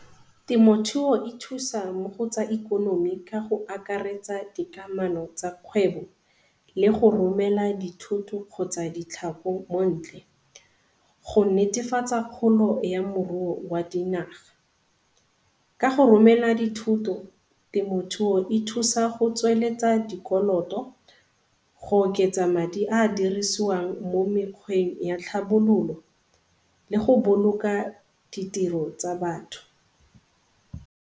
Temothuo e thusa mo go tsa ikonomi ka go akaretsa dikamano tsa kgwebo le go romela dithoto kgotsa ditlhako mo ntle. Go netefatsa kgolo ya moruo wa dinaga, ka go romela dithoto temothuo e thusa go tsweletsa dikoloto, go oketsa madi a a dirisiwang mo mekgweng ya tlhabololo le go boloka ditiro tsa batho.